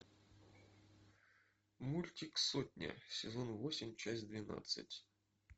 мультик сотня сезон восемь часть двенадцать